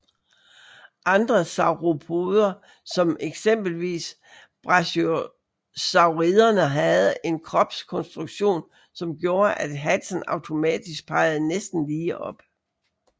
Andre sauropoder som eksempelvis brachiosauriderne havde en kropskonstruktion som gjorde at halsen automatisk pegede næsten lige op